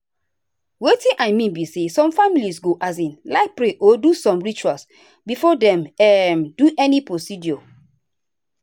wetin i mean be say some families go um like pray or do some rituals before dem um do any procedure.